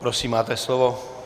Prosím máte slovo.